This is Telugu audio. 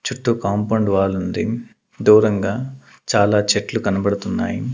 చుట్టూ కాంపౌండ్ వాల్ ఉంది దూరంగా చాలా చెట్లు కనబడుతున్నాయి.